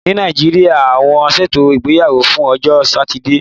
Ní Nàìjíríà, wọ́n ṣètò ìgbéyàwó fún ọjọ́ Satide.